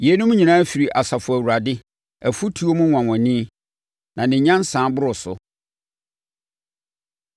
Yeinom nyinaa firi Asafo Awurade, afutuo mu nwanwani, na ne nyansa boro so.